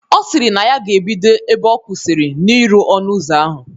Ọ sịrị na ya ga-ebido ebe ọ kwụsịrị n'irụ ọnụ ụzọ ahụ